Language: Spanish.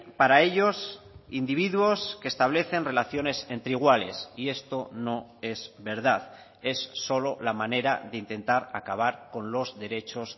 para ellos individuos que establecen relaciones entre iguales y esto no es verdad es solo la manera de intentar acabar con los derechos